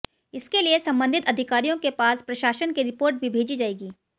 इसके लिए संबंधित अधिकारियों के पास प्रशासन की रिपोर्ट भी भेजी जाएगी